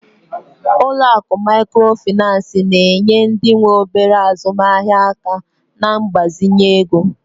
Ụlọ akụ Mikrofaịnsi na-enye ndị nwe obere azụmaahịa aka na mgbazinye ego